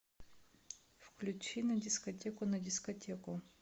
включи на дискотеку на дискотеку